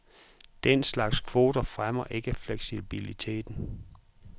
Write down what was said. Den slags kvoter fremmer ikke fleksibilitet.